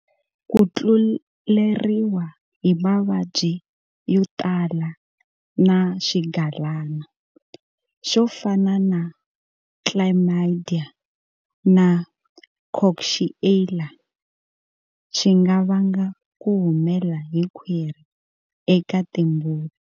Ku tluleriwa hi mavabyi yo tala na swigalana, swo fana na Chlamydia na Coxiella, swi nga vanga ku humela hi khwiri eka timbuti.